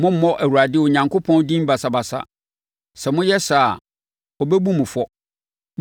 Mommmɔ Awurade Onyankopɔn din basabasa. Sɛ moyɛ saa a, ɔbɛbu mo fɔ.